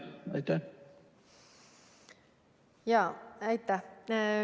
Aitäh!